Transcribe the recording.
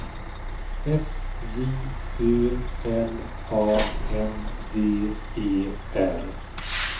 S J Ö L A N D E R